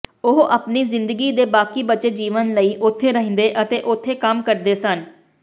ਉਹ ਆਪਣੀ ਜ਼ਿੰਦਗੀ ਦੇ ਬਾਕੀ ਬਚੇ ਜੀਵਨ ਲਈ ਉੱਥੇ ਰਹਿੰਦੇ ਅਤੇ ਉੱਥੇ ਕੰਮ ਕਰਦੇ ਸਨ